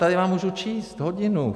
Tady vám můžu číst hodinu.